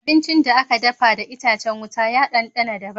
Abincin da aka dafa da itacen wuta ya ɗanɗana daban.